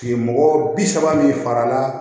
Kile mɔgɔ bi saba min farala